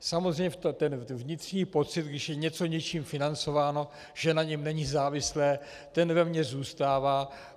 Samozřejmě ten vnitřní pocit, když je něco něčím financováno, že na něm není závislé, ten ve mně zůstává.